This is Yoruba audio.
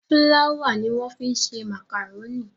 Fúláwà ni wọ́n fi ń ṣe màkàrónì.